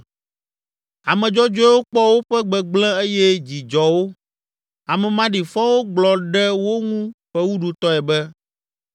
Ame dzɔdzɔewo kpɔ woƒe gbegblẽ eye dzi dzɔ wo, ame maɖifɔwo gblɔ ɖe wo ŋu fewuɖutɔe be,